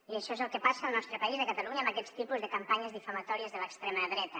i això és el que passa al nostre país a catalunya amb aquests tipus de campanyes difamatòries de l’extrema dreta